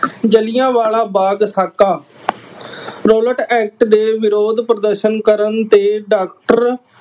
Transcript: ਜਲ੍ਹਿਆਵਾਲਾ ਬਾਗ ਸਾਕਾ Rowlatt act ਦੇ ਵਿਰੋਧ ਪ੍ਰਦਰਸ਼ਨ ਕਰਨ ਤੇ ਡਾਕਟਰ